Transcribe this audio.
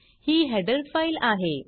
ही header file आहे